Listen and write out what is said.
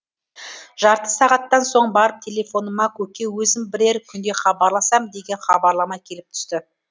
жарты сағаттан соң барып телефоныма көке өзім бірер күнде хабарласам деген хабарлама келіп түсті